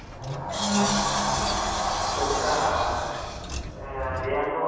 பேருசா difference illa இரனூரு ரூபாய் முன்னூரு ரூபாய் difference இருந்துச்சு